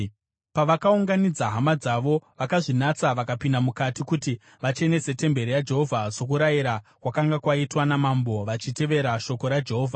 Pavakaunganidza hama dzavo vakazvinatsa, vakapinda mukati kuti vachenese temberi yaJehovha sokurayira kwakanga kwaitwa namambo, vachitevera shoko raJehovha.